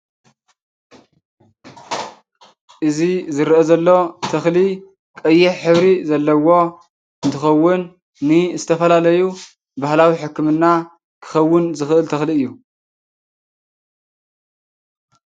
አብ ትግራይ ቡዙሓት ማእከላት ዜና ከምኡ’ውን መራከቢቲ ሓፋሽ ከም ዘለው ይፍለጥ፡፡ እዚ እንሪኦ ዘለና መራኪቢ ሓፋሽ ወይ ድማ ማእከል ዜና እንታይ ተባሂሉ ይፍለጥ? እዚ ዝርአ ዘሎ ተክሊ ቀይሕ ሕብሪ ዘለዎ እንትኸውን፤ ንዝተፈላለዩ ባህላዊ ሕክምና ክኸውን ዝክእል ተክሊ እዩ፡፡